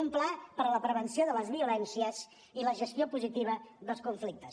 un pla per a la prevenció de les violències i la gestió positiva dels conflictes